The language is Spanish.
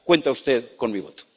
Cuenta usted con mi voto.